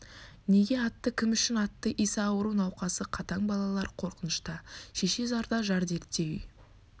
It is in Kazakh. неге атты кім үшін атты иса ауру науқасы қатаң балалар қорқынышта шеше зарда жар дертте үй